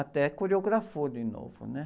Até coreografou de novo, né?